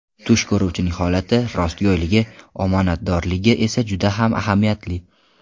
Tush ko‘ruvchining holati, rostgo‘yligi, omonatdorligi esa juda ham ahamiyatli.